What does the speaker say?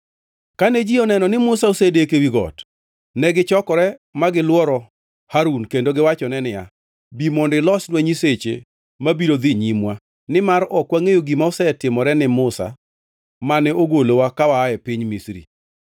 Kane ji oneno ni Musa osedeko ewi got, negichokore ma gilworo Harun kendo giwachone niya, “Bi mondo ilosnwa nyiseche ma biro dhi nyimwa, nimar ok wangʼeyo gima osetimore ne Musa mane ogolowa ka waa e piny Misri.”